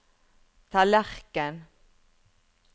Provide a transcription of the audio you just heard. tallerken